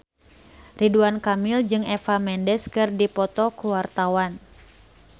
Ridwan Kamil jeung Eva Mendes keur dipoto ku wartawan